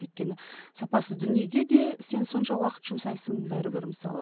өйткені сапасыз дүниеге де сен сонша уақыт жұмсайсың бәрібір мысалы